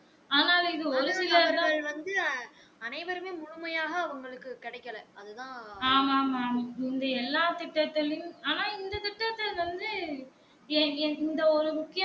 ஆனால் இது ஒழுங்கு இல்லாததால் ஆமா ஆமா ஆமா முந்தைய எல்லா திட்டத்துலையும் ஆனா இந்த திட்டத்துல வந்து இந்த ஒரு முக்கியமான.